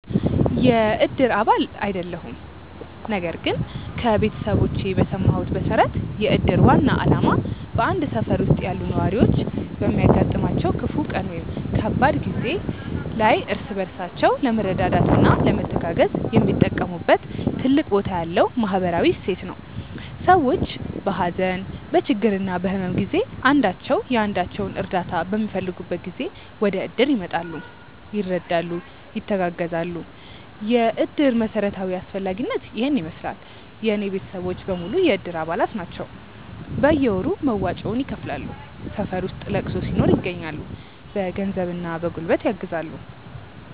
የእድር አባል አይደለሁም ነገር ግን ከቤተሰቦቼ በሰማሁት መሠረት የእድር ዋና ዓላማ በአንድ ሠፈር ውስጥ ያሉ ነዋሪዎች በሚያጋጥማቸው ክፉ ቀን ወይም ከባድ ጊዜ ላይ እርስ በራሳቸው ለመረዳዳትና ለመተጋገዝ የሚጠቀሙበት ትልቅ ቦታ ያለው ማኅበራዊ እሴት ነው። ሰዎች በሀዘን፣ በችግርና በሕመም ጊዜ አንዳቸው የአንዳቸውን እርዳታ በሚፈልጉበት ጊዜ ወደእድር ይመጣሉ፤ ይረዳሉ፣ ይተጋገዛሉ። የእድር መሠረታዊ አስፈላጊነት ይሔን ይመሥላል። የእኔ ቤተሰቦች በሙሉ የእድር አባላት ናቸው ናቸው። በየወሩ መዋጮውን ይከፍላሉ፣ ሠፈር ውስጥ ለቅሶ ሲኖር ይገኛሉ። በገንዘብና በጉልበት ያግዛሉ።